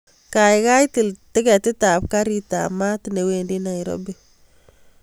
Kaikai til tiketit ab garit ab maat newendi nairobi